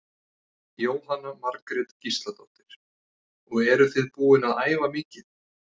Jóhanna Margrét Gísladóttir: Og eruð þið búin að æfa mikið?